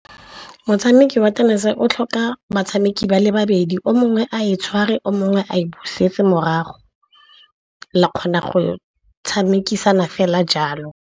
Motshameko wa tenese o tlhoka batshameki ba le babedi o mongwe a e tshware, o mongwe a e busetse morago. La kgona go tshamekisana fela jalo.